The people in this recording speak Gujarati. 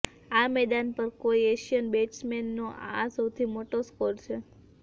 આ મેદાન પર કોઈ એશિયાઈ બેટ્સમેનનો આ સૌથી મોટો સ્કોર છે